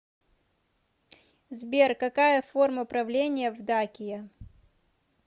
сбер какая форма правления в дакия